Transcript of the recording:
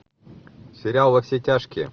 сериал во все тяжкие